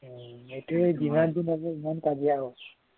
সেইটোৱে যিমান দিন হয় সিমান কাজিয়া আৰু